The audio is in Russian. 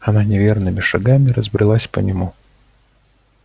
она неверными шагами разбрелась по нему